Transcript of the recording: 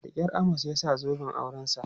Da kyar Amos ya sa zoben aurensa.